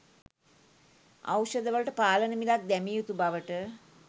ඖෂධවලට පාලන මිලක් දැමිය යුතු බවට